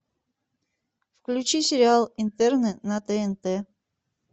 включи сериал интерны на тнт